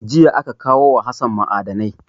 Jiya aka kawo ma Hassan ma'adanai.